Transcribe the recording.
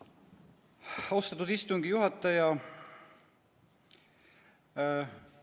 Austatud istungi juhataja!